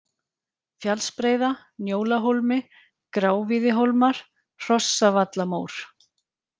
Fjallsbreiða, Njólahólmi, Grávíðihólmar, Hrossavallamór